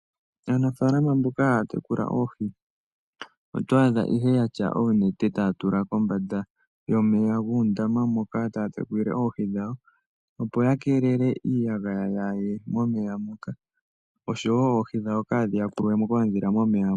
Aanafalama mboka yeli tatekula oohi ohaya kala yena onete tatula kombanda yomeya gundama moka tatekulile oohi dhawo. Opo yakelele iiyagaya kayi ye momeya moka osho woo oohi dhawo kadhi yakulwe mo koodhila momeya.